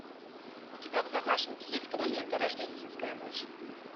у тебя в загашнике есть кинолента рождественская ночь